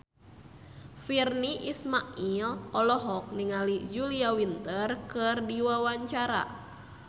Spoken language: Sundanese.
Virnie Ismail olohok ningali Julia Winter keur diwawancara